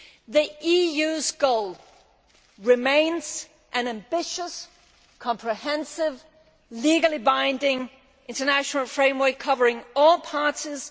The EU's goal remains an ambitious, comprehensive, legally binding international framework covering all parties.